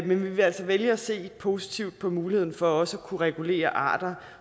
men vi vil altså vælge at se positivt på muligheden for også at kunne regulere arter